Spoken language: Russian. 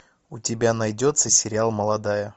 у тебя найдется сериал молодая